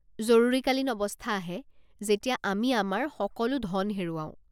জৰুৰীকালীন অৱস্থা আহে, যেতিয়া আমি আমাৰ সকলো ধন হেৰুৱাওঁ।